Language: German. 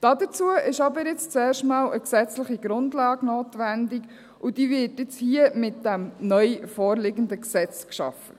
Dazu ist aber jetzt zuerst einmal eine gesetzliche Grundlage notwendig, und diese wird jetzt hier mit diesem neu vorliegenden Gesetz geschaffen.